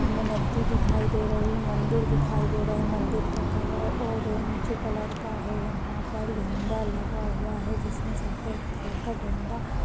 सामने नदी दिखाई दे रही मंदिर दिखाई दे रहा है। मंदिर का कलर ऑरेंज कलर का है। यहाँ पर झंडा लगा हुआ है जिसमें सफेद कलर का डंडा --